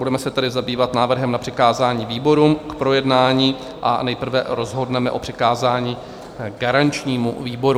Budeme se tedy zabývat návrhem na přikázání výborům k projednání a nejprve rozhodneme o přikázání garančnímu výboru.